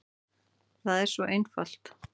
Það er svo einfalt.